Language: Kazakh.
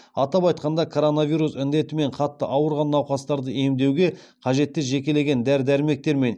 атап айтқанда коронавирус індетімен қатты ауырған науқастарды емдеуге қажетті жекелеген дәрі дәрмектер мен